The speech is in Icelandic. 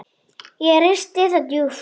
Ekki risti það djúpt.